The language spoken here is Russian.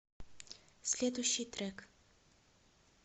следующий трек